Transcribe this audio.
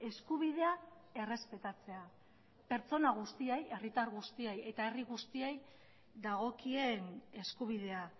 eskubidea errespetatzea pertsona guztiei herritar guztiei eta herri guztiei dagokien eskubidea